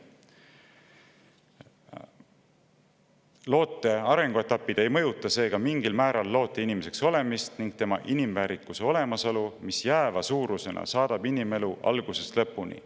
Loote arenguetapid ei mõjuta seega mingil määral loote inimeseks olemist ning tema inimväärikuse olemasolu, mis jääva suurusena saadab inimelu algusest lõpuni.